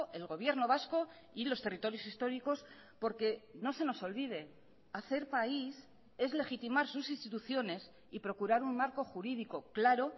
el gobierno vasco y los territorios históricos porque no se nos olvide hacer país es legitimar sus instituciones y procurar un marco jurídico claro